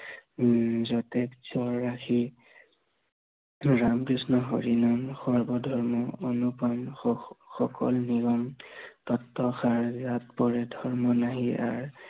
উম যতে যৰ ৰাখি উম ৰাম কৃষ্ণ হৰি নাম, সৰ্ব ধৰ্ম অনুপম সুখ, সকল নিৰন তত্বসাৰ, পৰি ধৰ্ম নাহি আৰ